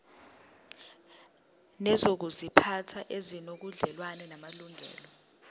nezokuziphatha ezinobudlelwano namalungelo